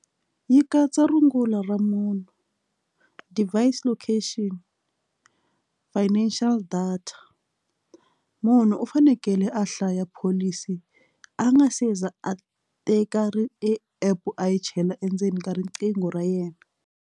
Yi katsa rungula ra munhu device location financial data munhu u fanekele a hlaya pholisi a nga seza a teka app a yi chela endzeni ka riqingho ra yena.